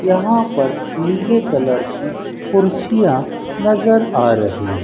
यहां पर नीले कलर की कुर्सियां नजर आ रही--